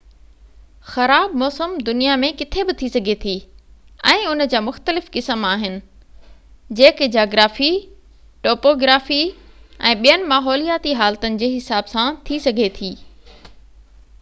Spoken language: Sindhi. خراب موسم دنيا ۾ ڪٿي بہ ٿي سگهي ٿي ۽ ان جا مختلف قسم آهن جيڪي جاگرافي ٽوپوگرافي ۽ ٻين ماحولياتي حالتن جي حساب سان ٿي سگهي ٿي